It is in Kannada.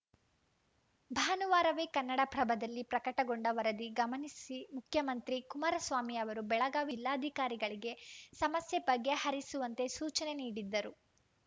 ಭಾನುವಾರವೇ ಕನ್ನಡಪ್ರಭದಲ್ಲಿ ಪ್ರಕಟಗೊಂಡ ವರದಿ ಗಮನಿಸಿ ಮುಖ್ಯಮಂತ್ರಿ ಕುಮಾರಸ್ವಾಮಿ ಅವರು ಬೆಳಗಾವಿ ವಿಲ್ಲಾಧಿಕಾರಿಗಳಿಗೆ ಸಮಸ್ಯೆ ಬಗೆಹರಿಸುವಂತೆ ಸೂಚನೆ ನೀಡಿದ್ದರು